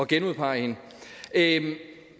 genudpege hende